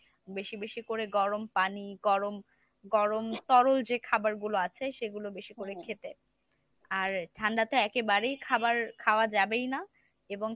বেশি বেশি করে গরম পানি গরম গরম তরল যে খাবারগুলো আছে সেগুলো বেশি করে খেতে আর ঠান্ডাতে একেবারেই খাবার খাওয়া যাবেই না এবং